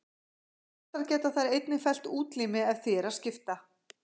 Flestar geta þær einnig fellt útlimi ef því er að skipta.